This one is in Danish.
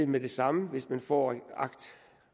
med det samme hvis man får